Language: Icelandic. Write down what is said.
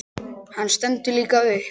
Hann stendur líka upp.